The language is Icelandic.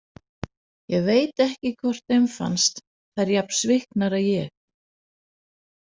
Ég veit ekki hvort þeim fannst þær jafn sviknar og ég.